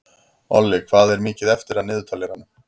Olli, hvað er mikið eftir af niðurteljaranum?